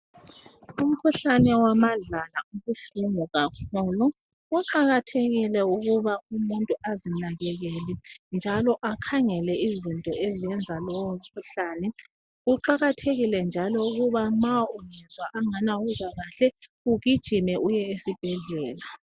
Umkhuhlane wamadlala ubuhlungu kakhulu. Kuqakathekile ukuba umuntu azinakekele njalo akhangele izinto ezenza lowomkhuhlane. Kuqakathekile njalo ukuba ma usizwa angani awuzwa kahle ugijime uye esibhedlela.